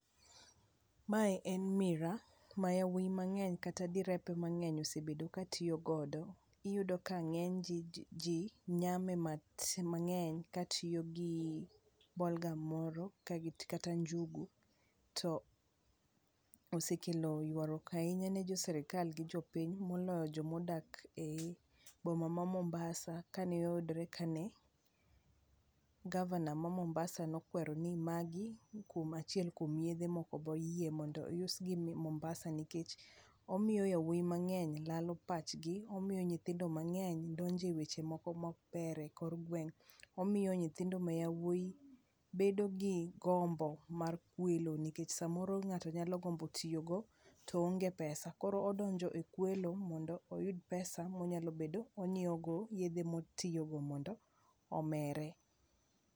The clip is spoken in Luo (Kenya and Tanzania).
Mae en miraa[ma yawuoyi mang'eny kata direpe mang'eny osebedo katiyogodo. Iyudo ka ng'eny ji nyame mang'eny katiyo gi ballgum moro kata njugu. To osekelo ywaruok ahinya ne jo sirkal gi jopiny, moloyo jomodak ei boma ma Mombasa kane oyudore kane gavana ma Mombasa nokwero ni magi kuom achiel kuom yedhe mokoboyie mondo ousgi Mombasa nikech omiyo yawuoyi mang'eny lalo pachgi. Omiyo nyithindo mang'eny donjo e weche moko mokber e kor gweng'. Omiyo nyithindo mayawuoyi bedo gi gombo mar kwelo nikech samoro ng'ato nyalo gombo tiyogo to oonge pesa, koro odonjo e kwelo mondo oyud pesa monyalo bedo onyieogo yedhe motiyogo mondo omere.